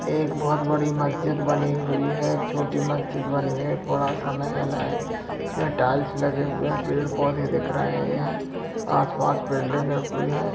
एक बहोत बड़ी मस्जिद बनी हुई है एक छोटी मस्जिद बनी है एक बड़ा सा महल है इसमें टाइल्स लगे हुए है पेड़-पौधे दिख रहे हैं आस-पास बिल्डिंगे हैं।